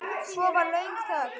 Svo var löng þögn.